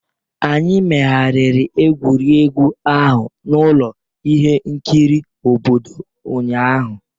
Anyị megharịrị egwuregwu ahụ n'ụlọ ihe nkiri obodo ụnyahụ.